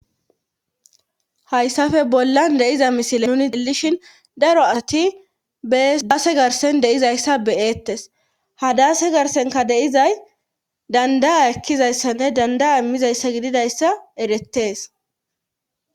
Hayssafe bollan iza misile nuni delishin daro ati edaase garsen deizayssa beyeettes hadaase garsenka deizay dandaa ekkizayssanne dandaa immizayssa gididayssa erettees.